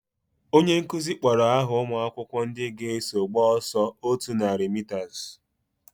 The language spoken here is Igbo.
Onye nkụzi kpọrọ aha umuakwukwo ndị ga eso gba ọsọ otú nari mitas